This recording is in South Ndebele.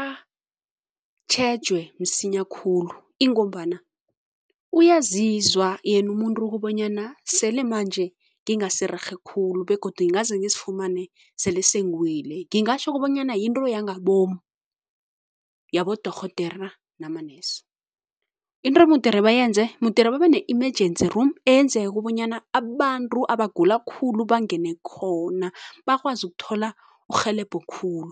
atjhejw msinya khulu ingombana uyazizwa yena umuntu kobanyana sele manje ngingasirerhe khulu begodu ngingaze ngizifumane sele sengiwile. Ngingatjho kobanyana yinto yangamabomu yabodorhodera namanesi. Into emudere bayenze, mudere babene -emergency room eyenzeke bonyana abantu abagula khulu bangene khona bakwazi ukuthola urhelebho khulu.